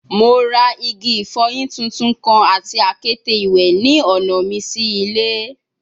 Mo ra igi ifoyin tuntun kan ati akete iwẹ ni ọna mi si ile